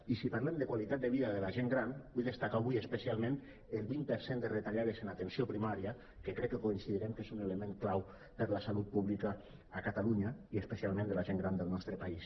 i si parlem de qualitat de vida de la gent gran vull destacar avui especialment el vint per cent de retallades en atenció primària que crec que coincidirem que és un element clau per a la salut pública a catalunya i especialment de la gent gran del nostre país